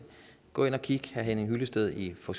gå ind og kig herre henning hyllested i for